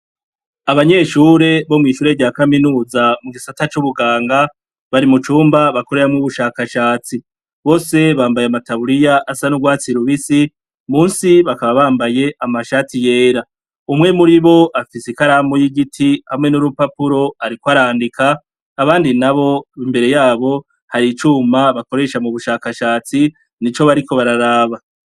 Abanyeshure bo mw'ishure rya kaminuza mugisata c'ubuganga, bari mu cumba bakoreramwo ubushakashatsi. Bose bambaye ama taburiya asa n'urwatsi rubisi musi bakaba bambaye amashati yera. Umwe muribo afise ikaramu y'igiti hamwe n'urupapuro ariko arandika, abandi nabo imbere yabo har'icuma bakoresha mubushakashatsi n'ico bariko bararaba.